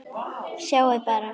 Sjáiði bara!